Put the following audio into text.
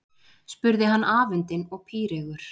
spurði hann afundinn og píreygur.